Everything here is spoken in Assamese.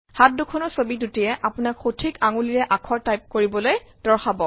হাত দুখনৰ ছৱি দুটিয়ে আপোনাক সঠিক আঙুলিৰে আখৰ টাইপ কৰিবলৈ দৰ্শাব